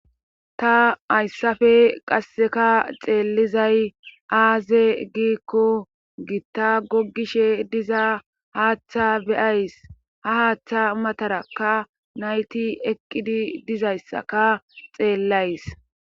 Ta ayssafe qasseka xeellizay aaze giikko gitta gogishe diza haaththa beyays ha haaththa matarakka nayti eqqidi dizayssaka xeellays.